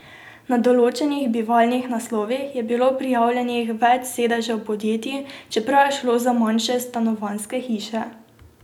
Na določenih bivalnih naslovih je bilo prijavljenih več sedežev podjetij, čeprav je šlo za manjše stanovanjske hiše.